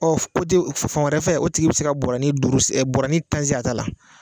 Ɔ fu kote fan wɛrɛ fɛ o tigi be se ka bɔrɔni duuru sen e dɔrɔni ta sen a ta la